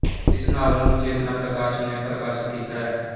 ਇਸ ਨਾਵਲ ਨੂੰ ਚੇਤਨਾ ਪ੍ਰਕਾਸ਼ਨ ਨੇ ਪ੍ਰਕਾਸ਼ਤ ਕੀਤਾ ਹੈ